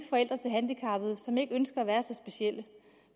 forældre til handicappede som ikke ønsker at være så specielle